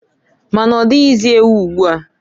Ma na-ọdịghịzị ewu ugboa.